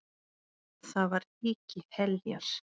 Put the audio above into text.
Þar var ríki Heljar.